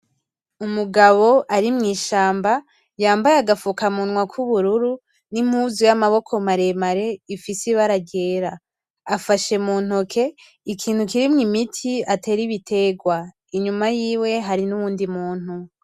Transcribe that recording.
Umugabo ari mw'ishamba yambaye agafukamunwa kubururu nimpuzu yamaboko maremare ifise ibara ryera. afashe muntoke ikintu kirimwo imiti y'ibiterwa inyuma yiwe hari nuwundi muntu .